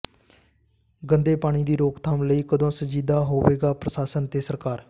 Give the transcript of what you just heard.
ਗੰਦੇ ਪਾਣੀ ਦੀ ਰੋਕਥਾਮ ਲਈ ਕਦੋਂ ਸੰਜੀਦਾ ਹੋਵੇਗਾ ਪ੍ਰਸ਼ਾਸਨ ਤੇ ਸਰਕਾਰ